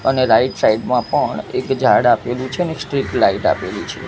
અને right side માં પણ એક ઝાડ આપેલું છે ને એક સ્ટ્રીટ લાઇટ આપેલી છે.